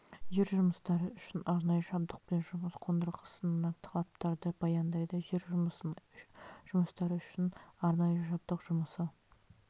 жер жұмыстары үшін арнайы жабдық пен жұмыс қондырғысына талаптарды баяндайды жер жұмыстары үшін арнайы жабдық жұмысы